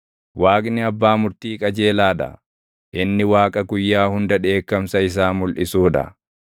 Waaqni abbaa murtii qajeelaa dha; inni Waaqa guyyaa hunda dheekkamsa isaa mulʼisuu dha.